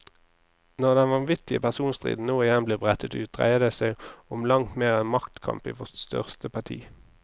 Når den vanvittige personstriden nå igjen blir brettet ut, dreier det som om langt mer enn maktkamp i vårt største parti.